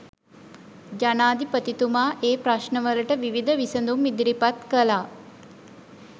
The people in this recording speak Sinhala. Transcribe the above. ජනාධිපතිතුමා ඒ ප්‍රශ්නවලට විවිධ විසඳුම් ඉදිරිපත් කළා.